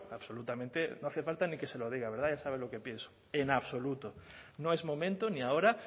absolutamente no hace falta ni que se lo diga verdad ya sabe lo que pienso en absoluto no es momento ni ahora